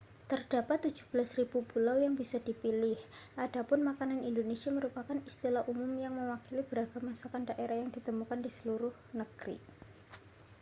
terdapat 17.000 pulau yang bisa dipilih adapun makanan indonesia merupakan istilah umum yang mewakili beragam masakan daerah yang ditemukan di seluruh negeri